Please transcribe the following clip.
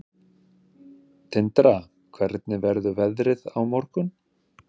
Tindra, hvernig verður veðrið á morgun?